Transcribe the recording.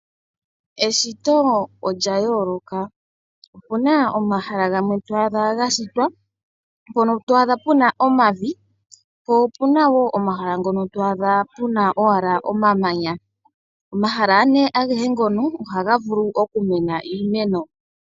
Eshito olya yooloka, opuna omahala gamwe to adha ga shitwa, mpono to adha puna omavi, po opuna woo omahala ngono to adha puna owala omamanya. Omahala agehe ngono ohaga vulu okumena iimeno.